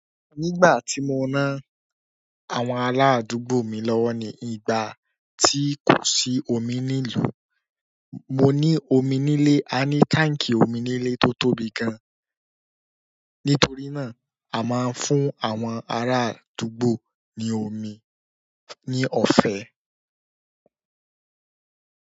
Nígbà tí mo ná àwọn aládùúgbò mi lọ́wọ́ ni ìgbà tí kò sí omi nílùú, mo ní omi nílé. Ni tank omi nile to tóbi gan. Nítorí náà, a máa ń fún àwọn ará àdúgbò ní omi ní ọ̀fẹ́.